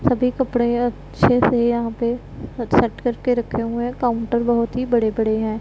सभी कपड़े अच्छे से यहां पे करके रखे हुए हैं काउंटर बहुत ही बड़े बड़े हैं।